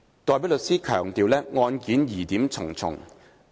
代表律師強調案件疑點重重。